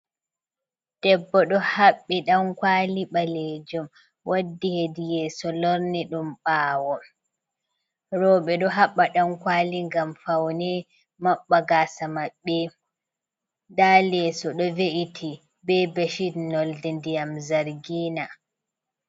Debbo ɗo haɓɓi dankwali ɓalejum waddi hediyeso lorni ɗum ɓawo, roɓe ɗo haɓɓa dankwali ngam faune maɓɓa gasa maɓɓe, nda leyeso ɗo ve’iti be beshit nolde ndiyam zargina.